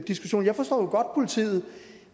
diskussionen jeg forstår